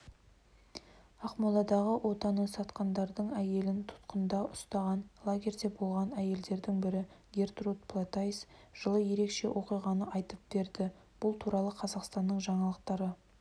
ақмоладағы отанын сатқандардың әйелін тұтқында ұстаған лагерде болған әйелдердің бірі гертруд платайс жылы ерекше оқиғаны айтып берді бұл туралы қазақстан жаңалықтары